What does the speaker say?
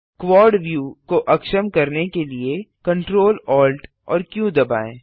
quad view को अक्षम करने के लिए Ctrl Alt एएमपी क्यू दबाएँ